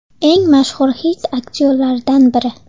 Eng mashhur hind aktyorlaridan biri.